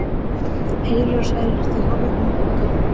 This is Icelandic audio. Heilir og sælir, þið horfnu og dánu.